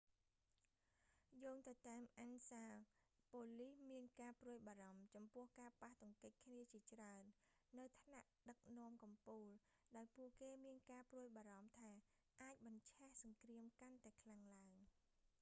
យោងទៅតាម ansa បូលីសមានការព្រួយបារម្ភចំពោះការប៉ះទង្គិចគ្នាជាច្រើននៅថ្នាក់ដឹកនាំកំពូល ដោយពួកគេមានការព្រួយបារម្ភថាអាចបញ្ឆេះសង្គ្រាមកាន់តែខ្លាំងឡើង